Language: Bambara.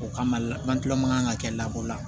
O kama an kilan kan ka kɛ lakɔ la